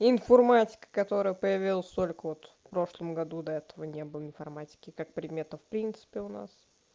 информатика которая появилась только вот в прошлом году до этого не было информатики как предмета в принципе у нас